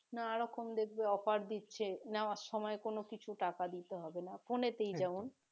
নানা রকম দেখবে offer দিচ্ছে নেওয়ার সময় কোন কিছু টাকা দিতে হবে না phone এ তেই